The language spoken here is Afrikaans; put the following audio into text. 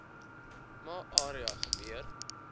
ma area gebeur